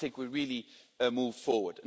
I think we really moved forward.